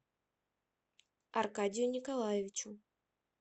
аркадию николаевичу